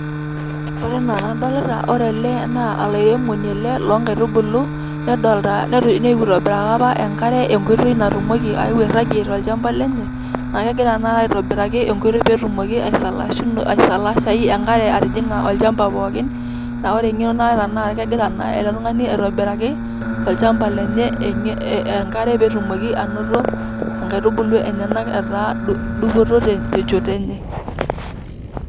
ore ena enadolita naa olairemoni ele nedolta nitobiraka apa enkare enkoitoi natumoki aeu airagie tolchamba lenye naa kegira tanakata aitobiraki enkoitoi petumoki aisalashayu enkare atijinga olchamba pookin niaku ore engeno naata naa kegira ele tungani aitobiraki olchamba lenye enkare petumoki anoto inkaitubulu enyenak etaa dupoto tenchoto enye.